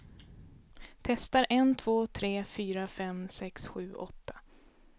Testar en två tre fyra fem sex sju åtta.